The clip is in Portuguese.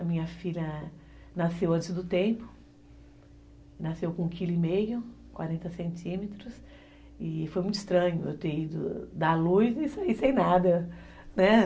A minha filha nasceu antes do tempo, nasceu com um quilo e meio, quarenta centímetros, e foi muito estranho eu ter ido dar a luz e sair sem nada, né?